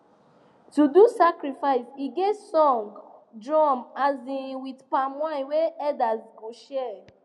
to do sacrifice e get song drum um with palm wine wey elders go share